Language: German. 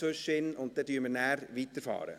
Danach fahren wir fort.